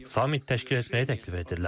Sammit təşkil etməyi də təklif etdilər.